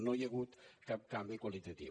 no hi ha hagut cap canvi qualitatiu